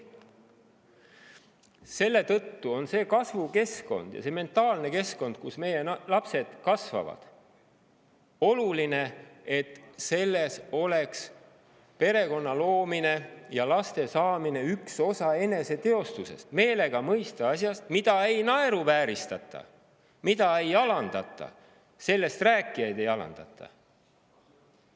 Selle tõttu on see kasvukeskkond ja see mentaalne keskkond, kus meie lapsed kasvavad, oluline, et selles peaks olema perekonna loomine ja lastesaamine üks osa eneseteostusest kui asjast, mida ei naeruvääristata ja millest rääkijaid ei alandata.